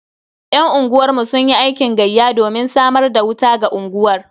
Yan unguwar mu sunyi aikin gayya domin samar da wuta ga unguwar.